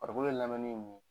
Farikolo lamini ye mun ye?